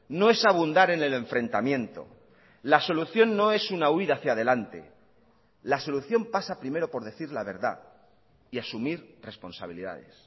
no es abundar en el enfrentamiento la solución no es una huída hacia delante la solución pasa primero por decir la verdad y asumir responsabilidades